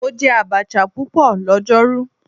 Mo jẹ abacha pupọ lọjọru